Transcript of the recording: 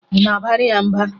Ị na-abara ya mba?